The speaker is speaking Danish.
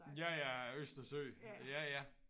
Ja ja æ Østersø ja ja